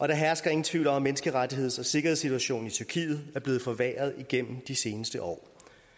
der hersker ingen tvivl om at menneskerettigheds og sikkerhedssituationen i tyrkiet er blevet forværret igennem de seneste år